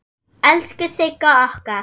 Elsku Sigga okkar!